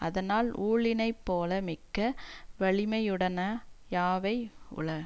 அதனால் ஊழினைப்போல மிக்க வலிமையுடையன யாவை உள